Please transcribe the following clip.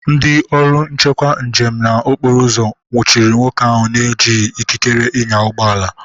Ndị ọrụ nchekwu njem na okporoụzọ nwuchiri nwoke ahụ na-ejighi ikikere ịnya ụgbọala.